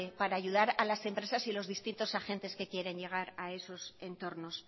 para ayudar a las empresas y los distintos agentes que quieren llegar a esos entornos